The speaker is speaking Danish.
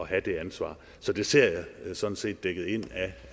have det ansvar så det ser jeg sådan set dækket ind af